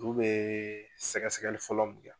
Ulu be sɛgɛsɛgɛli fɔlɔ